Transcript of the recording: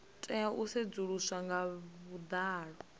tea u sedzuluswa nga vhuḓalo